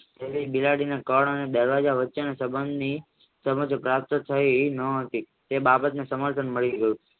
એથી બિલાડીને કળ અને બળ વચ્ચેની સંબંધની સમાજ પ્રાપ્ત થાય ન હતી તે બાબતની સમાજ મળી ગય